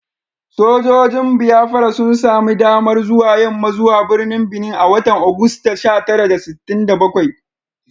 Sojojin Biafra sun sami damar zuwa yamma zuwa birnin Benin a watan Agusta sha tara da sittin da bakwai